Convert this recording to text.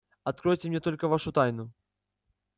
откройте мне только вашу тайну